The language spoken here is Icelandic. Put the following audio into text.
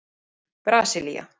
Brasilía